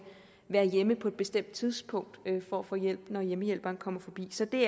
være hjemme på et bestemt tidspunkt for at få hjælp når hjemmehjælperen kommer forbi så det